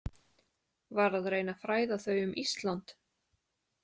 Var að reyna að fræða þau um Ísland.